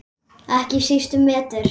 Ekki síst um vetur.